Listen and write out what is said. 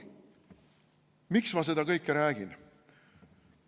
Miks ma seda kõike räägin?